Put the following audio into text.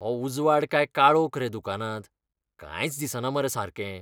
हो उजवाड काय काळोख रे दुकानांत, कांयच दिसना मरे सारकें.